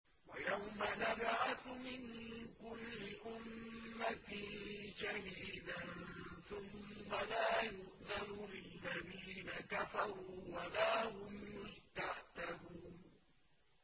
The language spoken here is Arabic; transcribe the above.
وَيَوْمَ نَبْعَثُ مِن كُلِّ أُمَّةٍ شَهِيدًا ثُمَّ لَا يُؤْذَنُ لِلَّذِينَ كَفَرُوا وَلَا هُمْ يُسْتَعْتَبُونَ